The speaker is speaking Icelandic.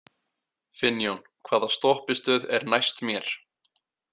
Finnjón, hvaða stoppistöð er næst mér?